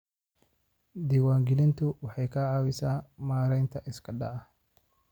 Diiwaangelintu waxay ka caawisaa maaraynta isku dhaca.